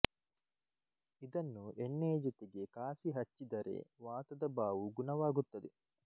ಇದನ್ನು ಎಣ್ಣೆಯ ಜೊತೆಗೆ ಕಾಸಿ ಹಚ್ಚಿದರೆ ವಾತದ ಬಾವು ಗುಣವಾಗುತ್ತದೆ